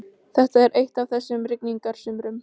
Þetta er eitt af þessum rigningarsumrum.